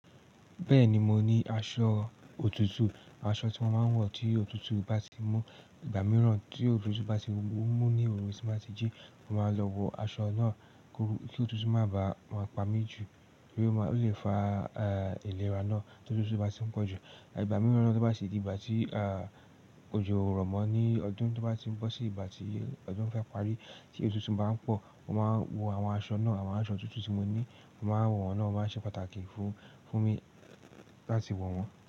Bẹ́ẹ̀ni mo ní aṣọ òtútù, aṣọ tí mo máa ń wọ̀ tí òtútù bá ti mú. Ìgbà mìíràn tí òtútù bá ti n mú ní òru tí báa ti jí, mo máa lọ wọ aṣọ náà kí òtútù má bá máa pamí ju pé ó máa lè fa ìlera náà ti òtútù bá ti ń pọ̀ jù. Ìgbà mìíràn tó bá tì di ìgbà tí a, òjò ò rọ̀mọ́ ní ọdún tó bá ti ń bọ́ sí ìgbà tí ọdún fr ń pari tí òtútù bá ń pọ̀, mo máa wo àwọn aṣọ náà, àwọn aṣọ òtútù tí mo ní, mo máa wọ̀n ná, ó máa ṣe pàtàkì fún, fún mi láti wọ̀ wọ́n.